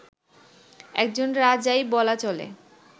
একজন রাজাই বলা চলে